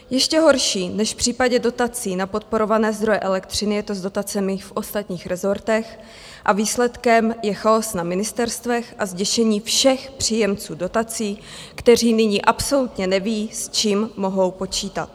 Ještě horší než v případě dotací na podporované zdroje elektřiny je to s dotacemi v ostatních rezortech a výsledkem je chaos na ministerstvech a zděšení všech příjemců dotací, kteří nyní absolutně neví, s čím mohou počítat.